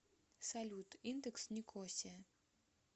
салют индекс никосия